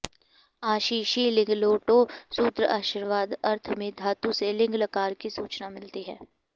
आशिषि लिङ्लोटौ सूत्र आशीर्वाद अर्थ में धातु से लिङ् लकार की सूचना मिलती है